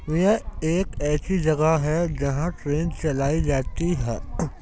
यह एक ऐसी जगह है जहां ट्रेन चलाई जाती है।